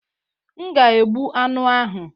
M ga egbu anụ ahụ.